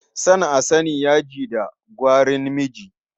Son a sani, yaji da kwarin miji.